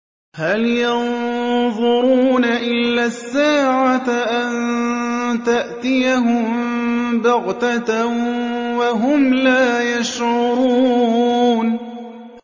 هَلْ يَنظُرُونَ إِلَّا السَّاعَةَ أَن تَأْتِيَهُم بَغْتَةً وَهُمْ لَا يَشْعُرُونَ